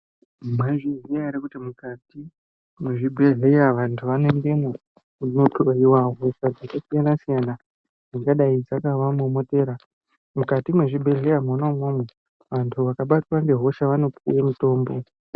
Mwaizviziya ere kuti mukati mwezvibhehleya vantu vanoendemwo kunohloyiwa hosha dzakasiyana siyana dzingadai dzakavamomotera. Mumati mwezvibhehleya mwona umwomwo vantu vakabatwa ngehosha vanopuwe mutombo.